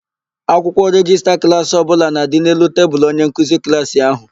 Akwụkwọ rejista klaasị ọbụla na-adị n'elu tebulu onyenkeuzi klaasị ahụ.